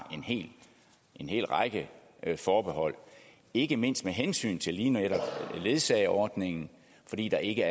en hel række af forbehold ikke mindst med hensyn til lige netop ledsageordningen fordi der ikke